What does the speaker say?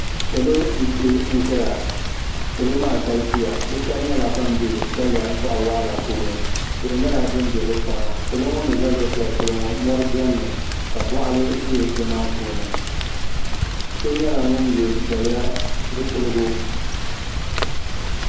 Salo m piɛ lai ʒia salo maa galisiya bɛ sheba nyɛla ban be daliya boɣawaɣala puuni tihi nyɛla din be bɛ kpaŋa salo ŋɔ ni za luɣu sheli polo ŋɔ mori biɛni mi ka boɣali be di maa puuni so nyɛla pun ye daliya zipiligu.